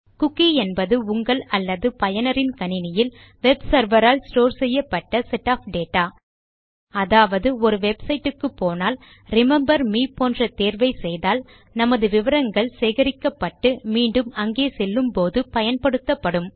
cookie என்பது உங்கள் அல்லது பயனரின் கணினியில் வெப் செர்வர் ஆல் ஸ்டோர் செய்யப்பட்ட செட் ஒஃப் டேட்டா அதாவது ஒரு வெப்சைட் குப்போனால் ரிமெம்பர் மே போன்ற தேர்வை செய்தால் நமது விவரங்கள் சேகரிக்கப்பட்டு மீண்டும் அங்கே செல்லும்போது பயன்படுத்தப்படும்